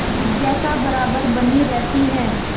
जिज्ञासा बराबर बनी रहती है